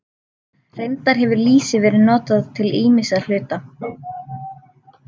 Reyndar hefur lýsi verið notað til ýmissa hluta.